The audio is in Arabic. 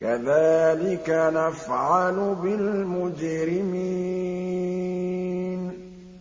كَذَٰلِكَ نَفْعَلُ بِالْمُجْرِمِينَ